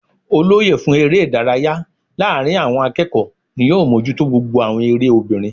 Olóyè fún eré ìdárayá láàrin àwon akéèkó ni yóò mójútó gbogbo àwon eré obìnrin